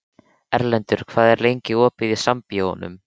Erlendur, hvað er lengi opið í Sambíóunum?